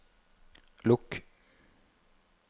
lukk